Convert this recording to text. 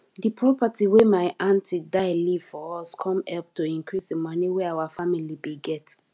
the property wey my aunty die leave for us com help to increase di money wey our family bin get